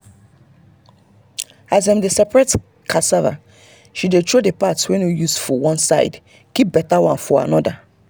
as dem dey separate cassava she dey throw the part wey no useful one side keep better one for another.